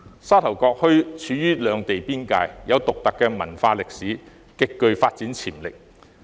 沙頭角墟處於兩地邊界，有獨特文化歷史，極具發展潛力。